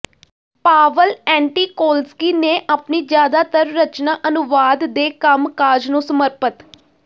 Pavel Antokolsky ਨੇ ਆਪਣੀ ਜ਼ਿਆਦਾਤਰ ਰਚਨਾ ਅਨੁਵਾਦ ਦੇ ਕੰਮ ਕਾਜ ਨੂੰ ਸਮਰਪਤ